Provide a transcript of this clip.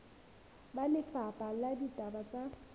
ba lefapha la ditaba tsa